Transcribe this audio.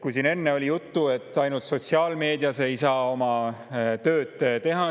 Siin enne oli juttu, et ainult sotsiaalmeedias ei saa oma tööd teha.